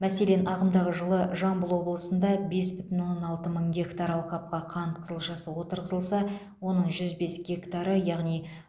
мәселен ағымдағы жылы жамбыл облысында бес бүтін оннан алты мың гектар алқапқа қант қызылшасы отырғызылса оның жүз бес гектары яғни